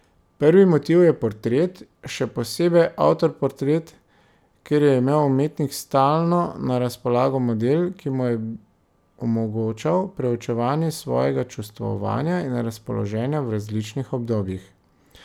Prvi motiv je portret, še posebej avtoportret, kjer je imel umetnik stalno na razpolago model, ki mu je omogočal preučevanje svojega čustvovanja in razpoloženja v različnih obdobjih.